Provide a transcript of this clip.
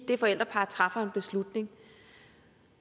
det forældrepar træffer beslutning